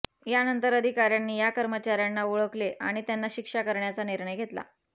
यानंतर अधिकाऱ्यांनी या कर्मचाऱ्यांना ओळखले आणि त्यांना शिक्षा करण्याचा निर्णय घेतला